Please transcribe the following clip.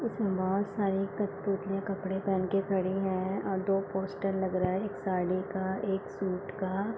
इसमें बहुत सारी कठपुतलियाँ कपड़े पेहेन कर खड़ी है और दो पोस्टर लग रहा है एक साड़ी का एक सूट का।